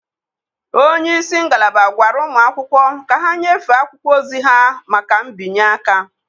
onye isi ngalaba gwara ụmụ akwụkwọ ka ha nyefee akwụkwọ ozi ha maka mbinye aka.